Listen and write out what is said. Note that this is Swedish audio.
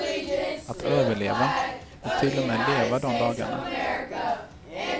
Att överleva, och till och med leva de dagarna.